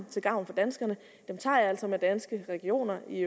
til gavn for danskerne tager jeg altså med danske regioner i